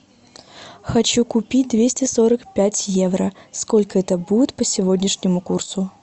хочу купить двести сорок пять евро сколько это будет по сегодняшнему курсу